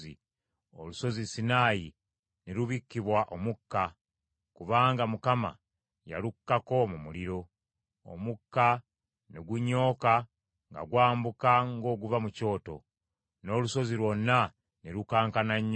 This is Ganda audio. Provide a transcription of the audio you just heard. Olusozi Sinaayi ne lubikkibwa omukka; kubanga Mukama yalukkako mu muliro. Omukka ne gunyooka nga gwambuka ng’oguva mu kyoto, n’olusozi lwonna ne lukankana nnyo.